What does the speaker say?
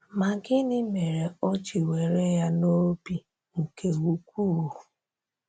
Ma gịnị mere o ji were ya n’obi nke ukwuu?